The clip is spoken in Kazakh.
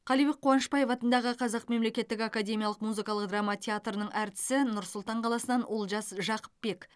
қалибек қуанышбаев атындағы қазақ мемлекеттік академиялық музыкалық драма театрының әртісі нұр сұлтан қаласынан олжас жақыпбек